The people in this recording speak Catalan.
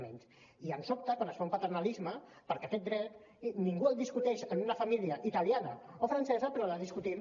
i em sobta quan es fa un paternalisme perquè aquest dret ningú el discuteix en una família italiana o francesa però el discutim